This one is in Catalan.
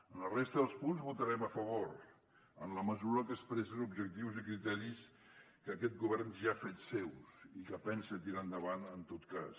en la resta dels punts hi votarem a favor en la mesura que expressen objectius i criteris que aquest govern ja ha fet seus i que pensa tirar endavant en tot cas